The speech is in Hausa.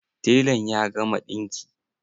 Telan ya gama ɗinki?